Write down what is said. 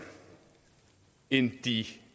end de